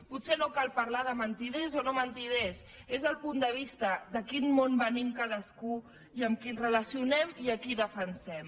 potser no cal parlar de mentiders o no mentiders és el punt de vista de quin món venim cadascú i amb qui ens relacionem i a qui defensem